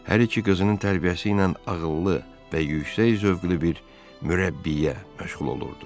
Hər iki qızının tərbiyəsi ilə ağıllı və yüksək zövqlü bir mürəbbiyə məşğul olurdu.